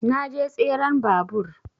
Na je tseren babur